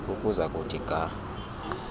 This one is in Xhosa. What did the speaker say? ukuza kuthi ga